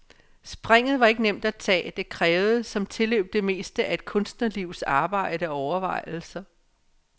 Springet var ikke nemt at tage, det krævede som tilløb det meste af et kunstnerlivs arbejde og overvejelser.